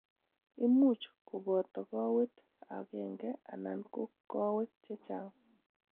Imuch koboto kowet agenge anan ko kowek chechang'.